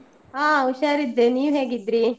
ಹ ಉಷಾರಿದ್ದೆ, ನೀವ್ ಹೇಗಿದ್ರಿ?